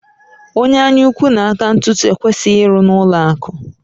Onye anyaukwu na aka ntụtụ ekwesịghị ịrụ n'ụlọakụ